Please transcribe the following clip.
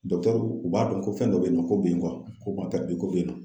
u b'a dɔn ko fɛn dɔ be yen nɔ ko be a ko ko be yen nɔ.